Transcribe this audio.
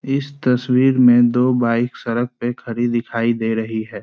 इस तस्वीर में दो बाइक सड़क पे खड़ी दिखाई दे रही हैं।